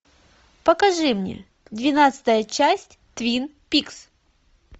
покажи мне двенадцатая часть твин пикс